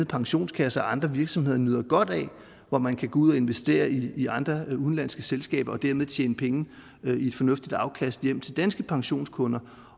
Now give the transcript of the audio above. pensionskasser og andre virksomheder nyder godt af og hvor man kan gå ud og investere i andre udenlandske selskaber og dermed tjene penge med et fornuftigt afkast hjem til danske pensionskunder